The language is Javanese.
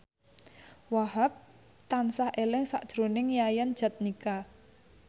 Wahhab tansah eling sakjroning Yayan Jatnika